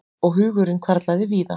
Og hugurinn hvarflaði víða.